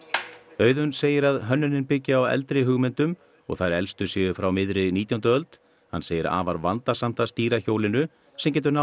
Auðunn segir að hönnunin byggi á eldri hugmyndum og þær elstu séu frá miðri nítjándu öld hann segir afar vandasamt að stýra hjólinu sem getur náð